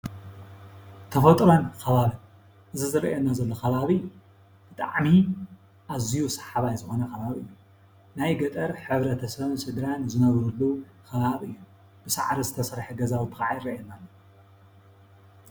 ተፈጥሮን ኸባብን እዚ ዝረአየና ዘሎ ኸባቢ ብጣዕሚ አዝዩ ሰሓባይ ዝኾነ ኸባቢ እዩ። ናይ ገጠር ሕብረተሰብ ስድራን ዝነብርሉ ኸባቢ እዩ። ብሳዕሪ ዝተሰርሐ ገዛውቲ ኸዓ ይረአየና እሎ።